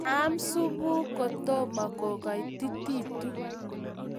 Aam supukuuk kotomo kogaitititu